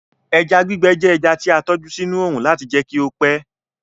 Eja gbígbẹ jẹ ẹja ti a tọju sinu óórun lati jẹ kí ó pẹ